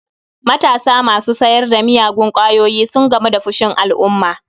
Matasa masu sayar da miyagun kwayoyi sun gamu da fushin alumma